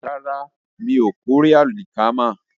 Bẹ́ẹ̀ni, mò ń kórè àlìkámà